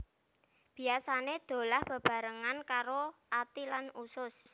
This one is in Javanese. Biasané dolah bebarengan karo ati lan usus